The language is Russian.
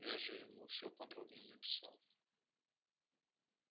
я же ему всё подробно написал